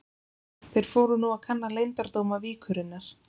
Þeir fóru nú að kanna leyndardóma víkurinnar.